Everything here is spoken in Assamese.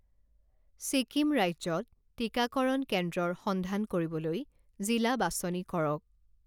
ছিকিম ৰাজ্যত টিকাকৰণ কেন্দ্ৰৰ সন্ধান কৰিবলৈ জিলা বাছনি কৰক